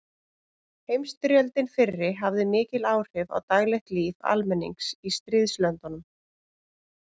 Heimsstyrjöldin fyrri hafði mikil áhrif á daglegt líf almennings í stríðslöndunum.